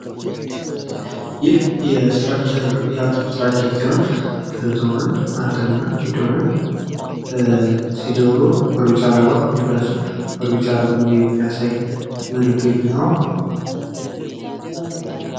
ይህ አተሞችን እስትራክቸር የሚያሳይ ምስል ነው። የኤሌክትሮን ፣ ፕሮቶንና ኒውትሮን አተሞች ይታያሉ።